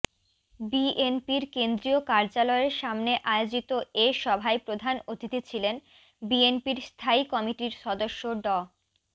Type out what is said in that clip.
বিএনপির কেন্দ্রীয় কার্যালয়ের সামনে আয়োজিত এ সভায় প্রধান অতিথি ছিলেন বিএনপির স্থায়ী কমিটির সদস্য ড